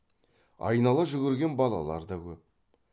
айнала жүгірген балалар да көп